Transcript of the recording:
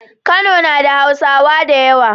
Kano nada hausa dayawa